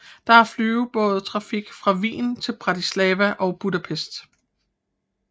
Der er flyvebådstrafik fra Wien til Bratislava og Budapest